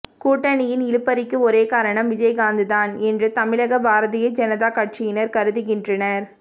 கூட்டணியின் இழுபறிக்கு ஒரே காரணம் விஜயகாந்த்தான் என்று தமிழக பாரதிய ஜனதா கட்சியினர் கருதுகின்றனர்